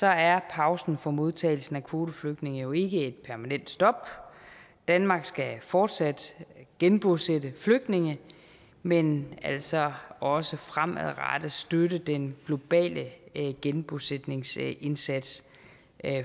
er pausen for modtagelse af kvoteflygtninge jo ikke et permanent stop danmark skal fortsat genbosætte flygtninge men altså også fremadrettet støtte den globale genbosætningsindsats